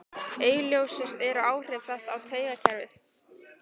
Augljósust eru áhrif þess á taugakerfið.